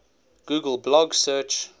google blog search